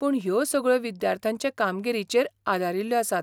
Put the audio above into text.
पूण ह्यो सगळ्यो विद्यार्थ्यांचे कामगिरीचेर आदारील्ल्यो आसात.